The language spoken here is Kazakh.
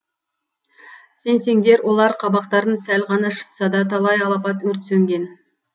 сенсеңдер олар қабақтарын сәл ғана шытса да талай алапат өрт сөнген